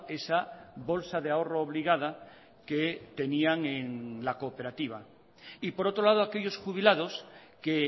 esa bolsa de ahorro obligada que tenían en la cooperativa y por otro lado aquellos jubilados que